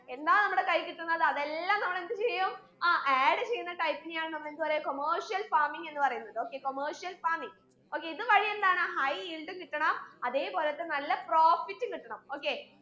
എന്താ നമ്മടെ കയ്യീ കിട്ടുന്നത് അതെല്ലാം നമ്മൾ എന്ത് ചെയ്യും ആ add ചെയ്യുന്ന type നെയാണ് നമ്മൾ എന്ത് പറയാ commercial farming എന്ന് പറയുന്നത് okay commercial farming okay ഇത് വഴി എന്താണ് high yield കിട്ടണം അതേ പോലെത്തെ നല്ല profit ഉം കിട്ടണം okay